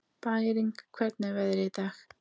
Bæring, hvernig er veðrið í dag?